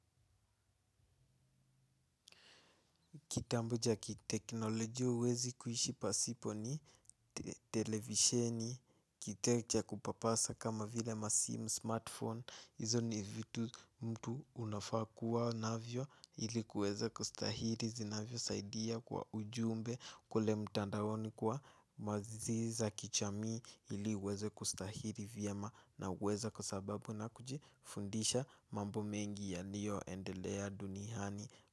Kitabu cha kiteknolojia huwezi kuishi pasipo ni televisheni, kite cha kupapasa kama vile masim smartphone, izo ni vitu mtu unafaa kuwa navyo ili kuweza kustahili zinavyo saidia kwa ujumbe kule mtandaoni kuwa mazi za kijamii ili uweze kustahili vyema na uweze kwa sababu na kujifundisha mambo mengi yalio endelea duniani.